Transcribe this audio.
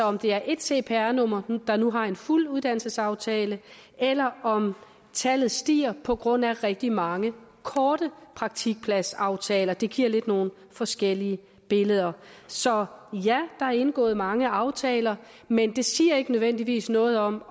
om det er ét cpr nummer der nu har en fuld uddannelsesaftale eller om tallet stiger på grund af rigtig mange korte praktikpladsaftaler det giver lidt nogle forskellige billeder så ja der er indgået mange aftaler men det siger ikke nødvendigvis noget om